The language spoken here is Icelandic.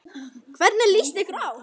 Hvernig líst ykkur á?